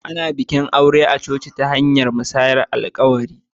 Ana iya yin bikin auren coci ta hanyar musayar alƙawura.